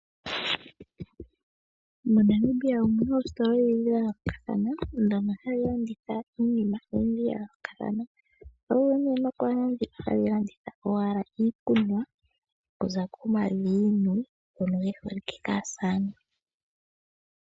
MoNamibia omu na oositola odhindji dha yoolokathana ndhono hadhi landitha iinima oyindji ya yoolokathana. Ohadhi vulu okukala tadhi landitha owala iikunwa okuza komaviinyu ngono ge holike kaasamane.